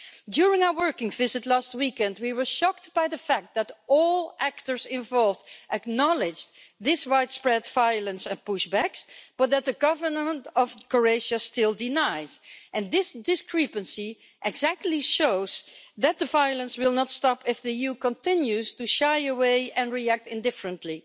During our working visit last weekend, we were shocked by the fact that all actors involved acknowledged this widespread violence and push backs, but that the Government of Croatia still denies this, and this discrepancy exactly shows that the violence will not stop if the EU continues to shy away and react indifferently.